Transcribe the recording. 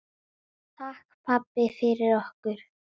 Takk, pabbi, fyrir okkur.